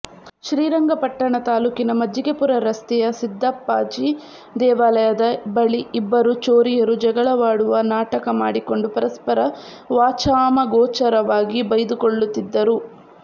ಶ್ರೀರಂಗಪಟ್ಟಣ ತಾಲೂಕಿನ ಮಜ್ಜಿಗೆಪುರ ರಸ್ತೆಯ ಸಿದ್ದಪ್ಪಾಜಿ ದೇವಾಲಯದ ಬಳಿ ಇಬ್ಬರು ಚೋರಿಯರು ಜಗಳವಾಡುವ ನಾಟಕ ಮಾಡಿಕೊಂಡು ಪರಸ್ಪರ ವಾಚಾಮಗೋಚರವಾಗಿ ಬೈದುಕೊಳ್ಳುತ್ತಿದ್ದರು